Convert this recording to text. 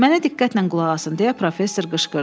Mənə diqqətlə qulaq asın, deyə Professor qışqırdı.